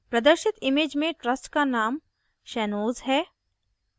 प्रदर्शित image में trust का name shanoz shanoz है